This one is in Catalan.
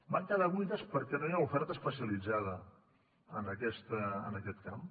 van quedar buides perquè no hi ha oferta especialitzada en aquest camp